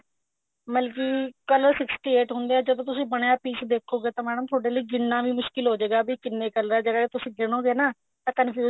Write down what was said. ਮਤਲਬ ਕਿ color sixty eight ਹੁੰਦੇ ਹੈ ਜਦੋਂ ਤੁਸੀਂ ਬਣਿਆ ਹੋਇਆ piece ਦੇਖੋਗੇ ਤਾਂ madam ਥੋੜੇ ਲਈ ਗਿਣਨਾ ਵੀ ਮੁਸ਼ਕਿਲ ਹੋਜੇਗਾ ਵੀ ਕਿੰਨੇ color ਜਿਹੜੇ ਤੁਸੀਂ ਗਿਨੋਗੇ ਨਾ ਤਾਂ confuse